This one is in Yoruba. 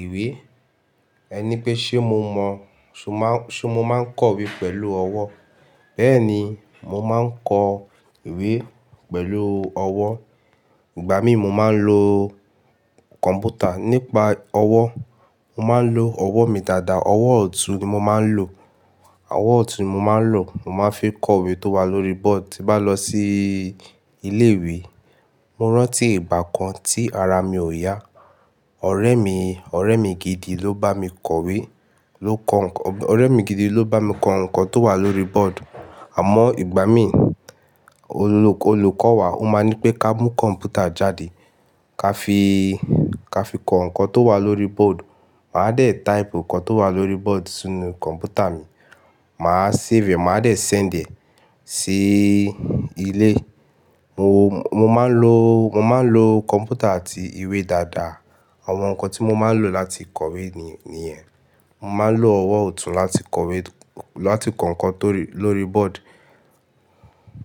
ìwé. Ẹ ní pé ṣe mo mọ, ṣe mó máa ń kọ ìwé pẹ̀lú ọwọ́. Bẹ́ẹ̀ni, mo máa ń kọ ìwé pẹ̀lú ọwọ́. Ìgbà mí mo máa ń lo kọ̀mpútà. Nípa ọwọ́, mo máa ń lo ọwọ́ mi dáadáa, ọwọ́ ọ̀tún ni mo máa ń lò. Ọwọ́ ọ̀tún ni mo máa ń lò, mo máa ń fi kọ ìwé tó wà lórí bọ́ọ̀dù. Ti bá lọ sí ilé ìwé, mo rántí ìgbà kan tí ara mi ò yá, ọ̀rẹ́ mi, ọ̀rẹ́ mi gidi ló bá mi kọ ìwé, ló kọ ǹkan, ọ̀rẹ́ mi gidi ló bá mi kọ ǹkan tó wà lórí bọ́ọ̀dù. Àmọ́ ìgbà mí, olùkọ́ wa ó máa ń nipé ká mú kọ̀mpútà jáde, ká fi, ká fi kọ ǹkan tó wà lórí bọ́ọ̀dù. Màá dẹ̀ type ǹkan tó wà lórí bọ́ọ̀dù sínú kọ̀mpútà mi, màá save, màá dẹ̀ send ẹ sí ilé. Mo, mo máa ń lo, mo máa ń lo kọ̀mpútà àti ìwé dáadáa. Àwọn ǹkan tí mo máa ń lò láti kọ ìwé ni, níyẹn. Mo máa ń lo ọwọ́ ọ̀tún láti kọ̀wé, láti kọ ǹkan tó rí lórí bọ́ọ̀dù.